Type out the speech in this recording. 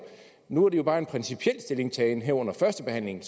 nu er det jo bare en principiel stillingtagen her under førstebehandlingen